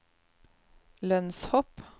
lønnshopp